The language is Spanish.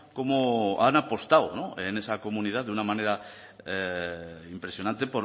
cómo han apostado en esa comunidad de una manera impresionante